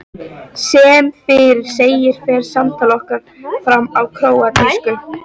Sem fyrr segir fer samtal okkar fram á króatísku.